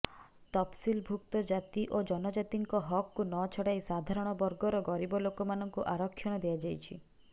ତଫସିଲଭୁକ୍ତ ଜାତି ଓ ଜନଜାତିଙ୍କ ହକକୁ ନଛଡାଇ ସାଧାରଣ ବର୍ଗର ଗରୀବଲୋକମାନଙ୍କୁ ଆରକ୍ଷଣ ଦିଆଯାଇଛି